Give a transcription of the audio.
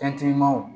Fɛntimanw